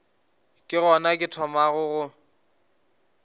ke gona ke thomago go